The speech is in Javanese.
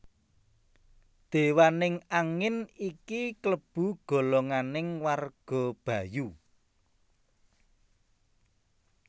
Dewaning angin iki klebu golonganing warga Bayu